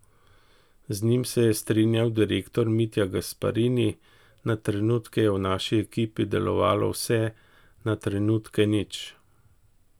Z njim se je strinjal korektor Mitja Gasparini: "Na trenutke je v naši ekipi delovalo vse, na trenutke nič.